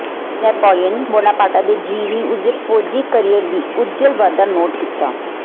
Napoleon Bonaparte ਦੇ ਜੀਵਨੀ ਉਸ ਦੇ ਫੌਜੀ ਕੈਰੀਅਰ ਦੀ ਉੱਜਲ ਵਾਧਾ ਨੋਟ ਕੀਤਾ